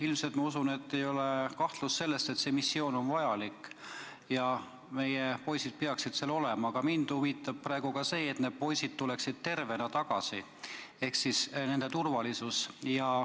Ilmselt ei ole kahtlust selles, et see missioon on vajalik ja meie poisid peaksid seal olema, aga mind huvitab praegu see, et nad tuleksid ka tervena tagasi ehk siis nende turvalisus.